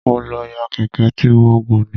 Mo lọ yá Kẹ̀kẹ́ tí mo gùn ni.